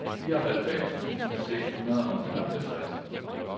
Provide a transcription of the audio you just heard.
fireoghalvfems tusind seks hundrede og nioghalvtreds